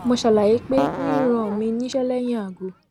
mo ṣàlàyé pé ríran mi níṣẹ lẹyìn aago